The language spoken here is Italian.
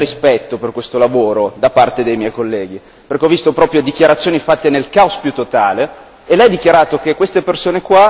Mi sembra che però non ci sia rispetto per questo lavoro da parte dei miei colleghi, perché ho visto proprio dichiarazioni fatte nel caos più totale.